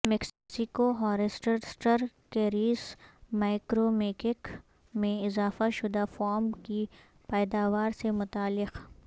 Mexico ہارسٹرسٹر کیریس میکرمکیک میں اضافہ شدہ فارم کی پیداوار سے متعلق